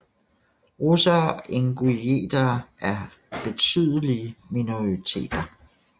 Russere og ingusjetere er betydelige minoriteter